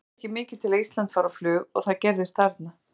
Það þarf ekki mikið til að Ísland fari á flug og það gerðist þarna.